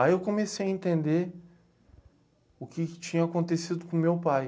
Aí eu comecei a entender o que que tinha acontecido com meu pai.